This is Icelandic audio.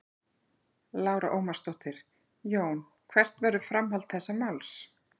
Lára Ómarsdóttir: Jón hvert verður framhald þessa máls?